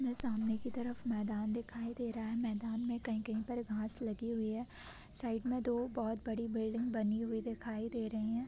ये सामने के तरफ मैदान दिखाई दे रहा है मैदान में कहीं-कहीं घास लगी हुई है साइड में दो बहोत बड़ी बिल्डिंग दिखाई दे रही है।